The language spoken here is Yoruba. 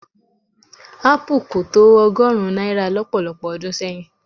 Ápù kò tó ọgọ́rùn-ún náírà lọ́pọ̀lọpọ̀ ọdún sẹ́yìn.